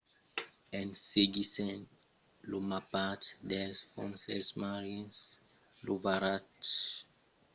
en seguissent lo mapatge dels fonses marins lo varatge foguèt trobat en utilizar un rov